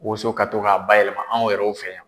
woso ka to ka bayɛlɛma anw yɛrɛw fɛ yan.